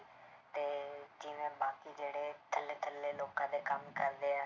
ਤੇ ਜਿਵੇਂ ਬਾਕੀ ਜਿਹੜੇ ਥੱਲੇ ਥੱਲੇ ਲੋਕਾਂ ਦੇ ਕੰਮ ਕਰਦੇ ਹੈ,